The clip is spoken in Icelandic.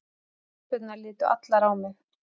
Stelpurnar litu allar á mig.